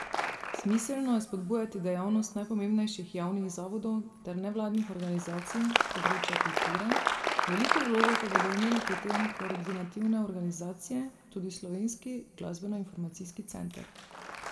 Smiselno je spodbujati dejavnost najpomembnejših javnih zavodov ter nevladnih organizacij s področja kulture, veliko vlogo pa bodo imele pri tem koordinativne organizacije, tudi Slovenski glasbenoinformacijski center.